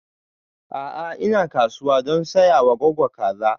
A'a ina kasuwa don saya wa goggo kaza